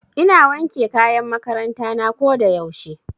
Ina wanke kayan makaranta na ko da yaushe.